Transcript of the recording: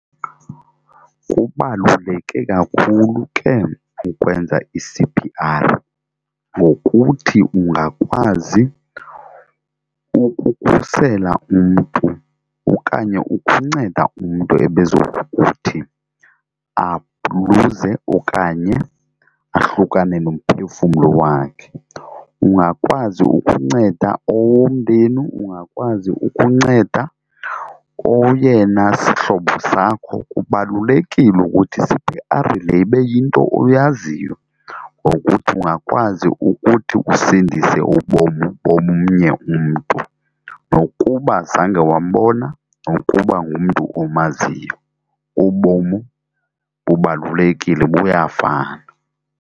Kubaluleke kakhulu ke ukwenza i-C_P_R ngokuthi ungakwazi ukukhusela umntu okanye ukunceda umntu ebezokuthi abhruze okanye ahlukane nomphefumlo wakhe. Ungakwazi ukunceda owomndeni, ungakwazi ukunceda oyena sihlobo sakho. Kubalulekile ukuthi i-C_P_R le ibe yinto oyaziyo ngokuthi ungakwazi ukuthi usindise ubomi bomnye umntu nokuba zange wambona nokuba ngumntu omaziyo. Ubomu bubalulekile buyafana.